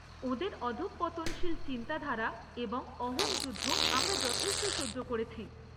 ওঁদের অধঃপতনশীল চিন্তাধারা এবং অহং যুদ্ধ আমরা যথেষ্ট সহ্য করেছি।